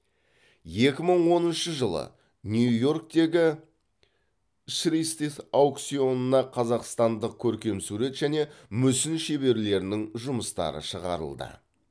екі мың оныншы жылы нью йорктегі шристиф аукционына қазақстандық көркемсурет және мүсін шеберлерінің жұмыстары шығарылды